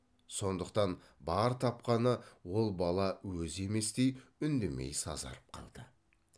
сондықтан бар тапқаны ол бала өзі еместей үндемей сазарып қалды